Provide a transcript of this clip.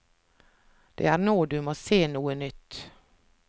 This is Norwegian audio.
Det er nå du må se noe nytt.